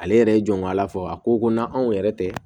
Ale yɛrɛ ye jɔn ŋ'ala fɔ a ko ko na anw yɛrɛ tɛ